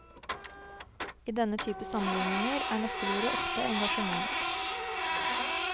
I denne type sammenligninger er nøkkelordet ofte engasjement.